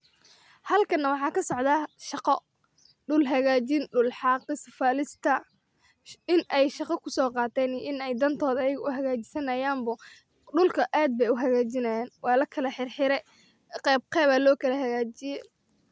Halkana wxa kasocda shaqo dulhagajin kulaxaqis, falista, inay shaqa kusoqaten inay dantoda ayag u hagajisanay bo dulka ad u hagajinayin bo dulka ad bay u hagajinay walaka hirhire, qebqeb alokalahagajiye.